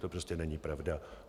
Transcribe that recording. To prostě není pravda.